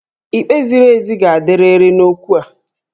Ikpe ziri ezi ga-adịrịrị n'okwu a